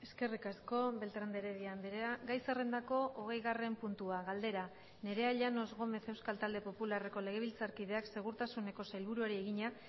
eskerrik asko beltrán de heredia andrea gai zerrendako hogeigarren puntua galdera nerea llanos gómez euskal talde popularreko legebiltzarkideak segurtasuneko sailburuari egina